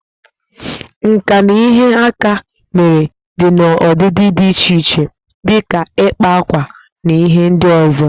Nka na ihe aka mere dị n'ọdịdị dị iche iche dị ka ịkpa akwa na ihe ndị ọzọ